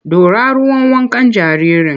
Ɗora ruwan wankan jaririn!